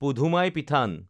পুধুমাইপিঠান